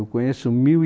Eu conheço mil e